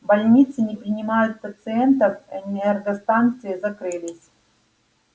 больницы не принимают пациентов энергостанции закрылись